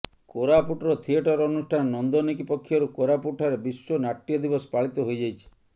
କୋରାପୁଟର ଥିଏଟର ଅନୁଷ୍ଠାନ ନନ୍ଦନିକ ପକ୍ଷରୁ କୋରାପୁଟଠାରେ ବିଶ୍ୱ ନାଟ୍ୟ ଦିବସ ପାଳିତ ହୋଇଯାଇଛି